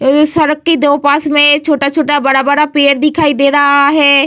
और उ सड़क के दो पास में छोटा-छोटा बड़ा-बड़ा पेड़ दिखाई दे रहा है।